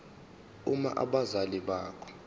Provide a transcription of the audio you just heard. uma abazali bakho